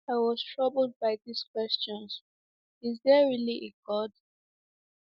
I was troubled by these questions, Is there really a God?